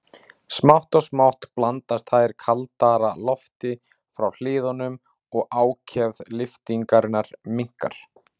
Smátt og smátt blandast þær kaldara lofti frá hliðunum og ákefð lyftingarinnar minnkar.